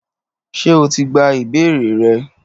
Ṣé o ti gba ìbéèrè rẹ?